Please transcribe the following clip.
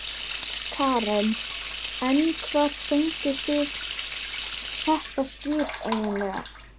Karen: En hvar fenguð þið þetta skip eiginlega?